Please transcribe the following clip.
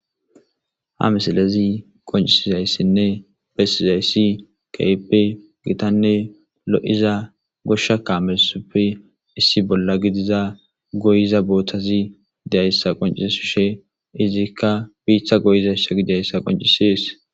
Ha misilezi qoncisizayssinne bessizayssi keyppe gitanne lo'iza goshsha kaamelsupfe issi bolla gidiza goyiza booththazi dyayssa qoncissi she izikka biiththa goyizayssa gidiayssa qoncisies.